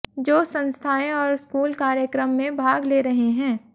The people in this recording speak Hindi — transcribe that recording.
जो संस्थाएं और स्कूल कार्यक्रम में भाग ले रहे हैं